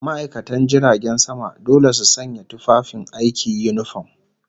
ma'aikatan jiragen sama dole su sanya tufafin aiki, yunifom